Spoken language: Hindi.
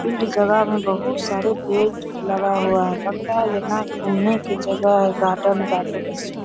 इस जगह में बहुत सारे पेड़ लगा हुआ है लगता है यहाँ घूमने की जगह है गार्डन गार्डन --